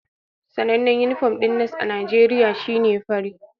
Sanannen inifom ɗin nas a Najeriya shi ne fari